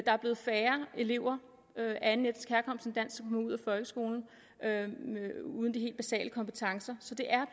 er blevet færre elever af anden af folkeskolen uden de helt basale kompetencer så det er